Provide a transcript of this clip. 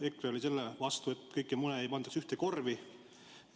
EKRE oli selle vastu, et kõiki mune ühte korvi pandaks.